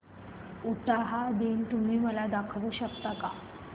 उटाहा दिन तुम्ही मला दाखवू शकता का